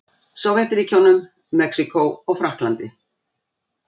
Sovétríkjunum, Mexíkó og Frakklandi.